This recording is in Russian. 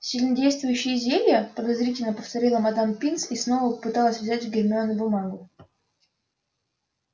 сильнодействующие зелья подозрительно повторила мадам пинс и снова попыталась взять у гермионы бумагу